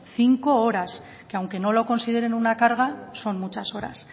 cinco horas que aunque no lo consideren una carga son muchas horas